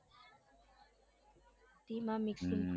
હમ